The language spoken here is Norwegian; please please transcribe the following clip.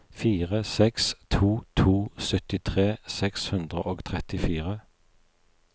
fire seks to to syttitre seks hundre og trettifire